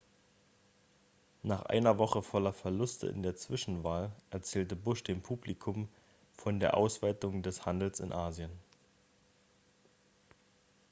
nach einer woche voller verluste in der zwischenwahl erzählte bush dem publikum von der ausweitung des handels in asien